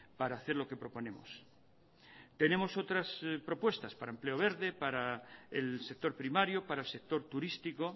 para hacer lo que proponemos tenemos otras propuestas para empleo verde para el sector primario para el sector turístico